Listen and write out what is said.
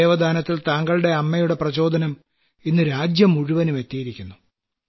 അവയവദാനത്തിൽ താങ്കളുടെ അമ്മയുടെ പ്രചോദനം ഇന്ന് രാജ്യം മുഴുവനും എത്തിയിരിക്കുന്നു